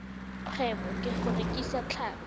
kgwebo ka go rekisa tlhapi